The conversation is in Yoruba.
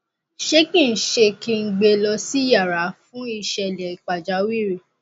ṣé kí ṣé kí n gbe lọ sí yàrà fún ìṣẹlẹ pàjáwìrì